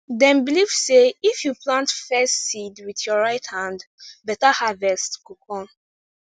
dem believe sey if you plant first seed with your right hand better harvest go come